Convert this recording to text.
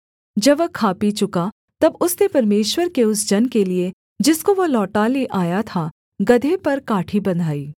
जब वह खा पी चुका तब उसने परमेश्वर के उस जन के लिये जिसको वह लौटा ले आया था गदहे पर काठी बँधाई